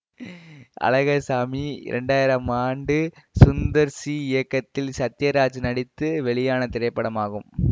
அழகர்சாமி இரண்டு ஆயிரம் ஆண்டு சுந்தர் சி இயக்கத்தில் சத்தியராஜ் நடித்து வெளியான திரைப்படமாகும்